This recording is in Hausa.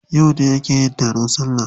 Yauce aka yi taron salla?